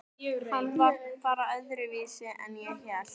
Hann var bara allt öðruvísi en ég hélt.